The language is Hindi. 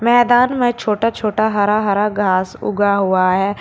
मैदान में छोटा छोटा हरा हरा घास उगा हुआ है।